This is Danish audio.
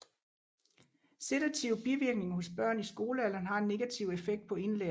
Sedative bivirkninger hos børn i skolealderen har en negativ effekt på indlæring